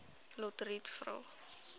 lotriet vra